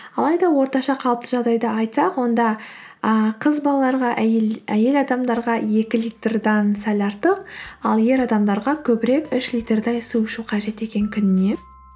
алайда орташа қалыпты жағдайды айтсақ онда ы қыз балаларға әйел адамдарға екі литрдаен сәл артық ал ер адамдарға көбірек үш литрдей су ішу қажет екен күніне